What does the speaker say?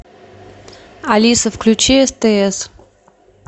алиса включи стс